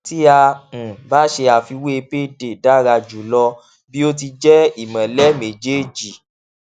tí a um bá ṣe àfiwé payday dára jùlọ bí ó ti jẹ ìmọlẹ méjèèjì